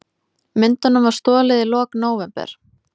Myndunum var stolið í lok nóvember